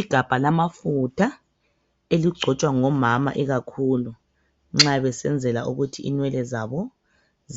I gabha lamafutha, eligcotshwa ngo mama ikakhulu nxa besenzela ukuthi inwele zabo